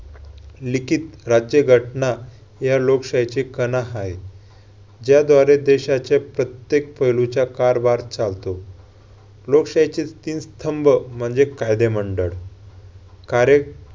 लिखित राज्यघटना या लोकशाहीचे कणा आहे. ज्याद्वारे देशाच्या प्रत्येक पैलूचा कारभार चालतो. लोकशाहीचे तीन स्तंभ म्हणजे कायदे मंडळ. कार्य~